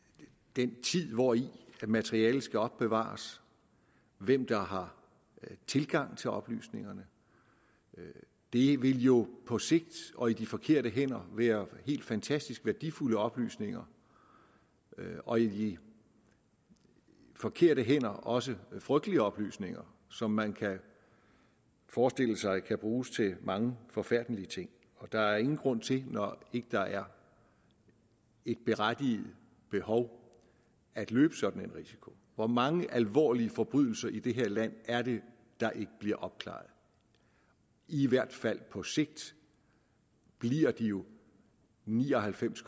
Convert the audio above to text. den tid hvori materialet skal opbevares hvem der har tilgang til oplysningerne det vil jo på sigt og i de forkerte hænder være helt fantastisk værdifulde oplysninger og i de forkerte hænder også frygtelige oplysninger som man kan forestille sig kan bruges til mange forfærdelige ting der er ingen grund til når ikke der er et berettiget behov at løbe sådan en risiko hvor mange alvorlige forbrydelser i det her land er det der ikke bliver opklaret i hvert fald på sigt bliver jo de ni og halvfems